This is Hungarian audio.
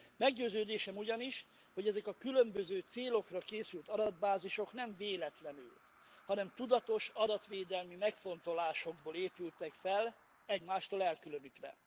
Meggyőződésem ugyanis, hogy ezek a különböző célokra készült adatbázisok nem véletlenül, hanem tudatos adatvédelmi megfontolásokból épültek fel egymástól elkülönítve.